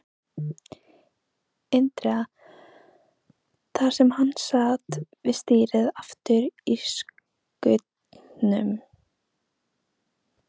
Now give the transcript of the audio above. Indriða, þar sem hann sat við stýrið aftur í skutnum.